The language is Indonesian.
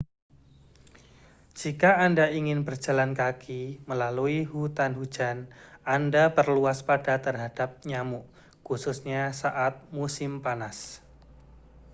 jika anda ingin berjalan kaki melalui hutan hujan anda perlu waspada terhadap nyamuk khususnya saat musim panas